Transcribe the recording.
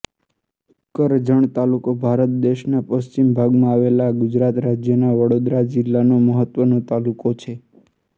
કરજણ તાલુકો ભારત દેશના પશ્ચિમ ભાગમાં આવેલા ગુજરાત રાજ્યના વડોદરા જિલ્લાનો મહત્વનો તાલુકો છે